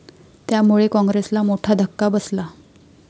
त्यामुळे काँग्रेसला मोठा धक्का बसला.